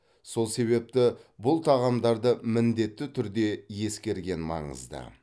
сол себепті бұл тағамдарды міндетті түрде ескерген маңызды